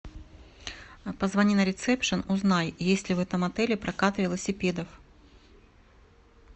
позвони на ресепшен узнай есть ли в этом отеле прокат велосипедов